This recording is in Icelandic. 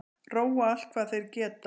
Róa allt hvað þeir geta